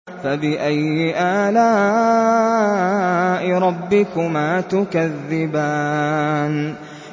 فَبِأَيِّ آلَاءِ رَبِّكُمَا تُكَذِّبَانِ